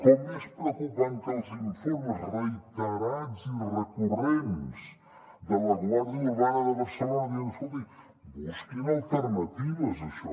com és preocupant que els informes reiterats i recurrents de la guàrdia urbana de barcelona diuen escolti busquin alternatives a això